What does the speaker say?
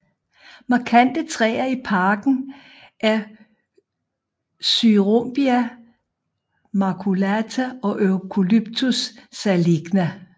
Markante træer i parken er Corymbia maculata og Eucalyptus saligna